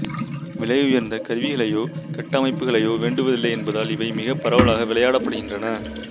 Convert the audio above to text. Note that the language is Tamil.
விலையுயர்ந்த கருவிகளையோ கட்டமைப்புக்களையோ வேண்டுவதில்லை என்பதால் இவை மிகப் பரவலாக விளையாடப்படுகின்றன